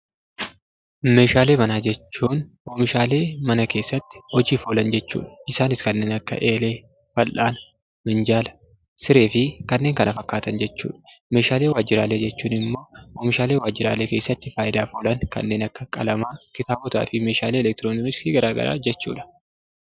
Meeshaalee manaa jechuun oomishaalee mana keessatti hojiif oolan jechuudha. Isaanis kanneen akka eelee, fal'aana, minjaala, sireefi kanneen kana fakkaatan jechuudha. Meeshaalee waajjiraalee jechuun ammoo meeshaalee waajjiralee keessatti hojiirra oolan kanneen akka qalamaa, kitaabotaafi meeshaalee elektirooniksii gara garaa jechuudha.